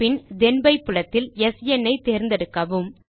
பின் தேன் பை புலத்தில் ஸ்ன் ஐ தேர்ந்தெடுக்கவும்